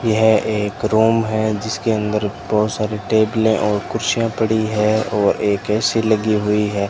यह एक रूम है जिसके अंदर बहुत सारी टेबलें और कुर्सियां पड़ी है और एक ए_सी लगी हुई है।